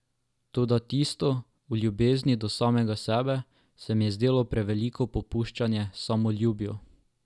Toda tisto o ljubezni do samega sebe se mi je zdelo preveliko popuščanje samoljubju.